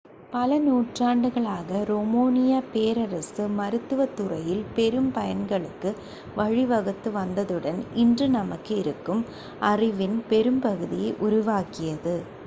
பல நூற்றாண்டுகளாக ரோமானியப் பேரரசு மருத்துவத் துறையில் பெரும் பயன்களுக்கு வழிவகுத்து வந்ததுடன் இன்று நமக்கு இருக்கும் அறிவின் பெரும்பகுதியை உருவாக்கியது